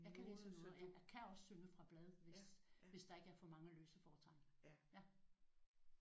Jeg kan læse noder ja. Jeg kan også synge fra blad hvis hvis der ikke er for mange løse fortegn